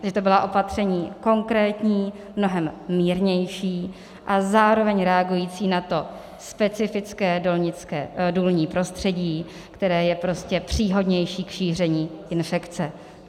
Že to byla opatření konkrétní, mnohem mírnější a zároveň reagující na to specifické důlní prostředí, které je prostě příhodnější k šíření infekce.